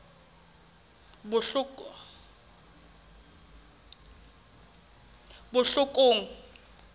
botlhokong